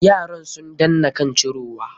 Yaran sun danna kan cirowa.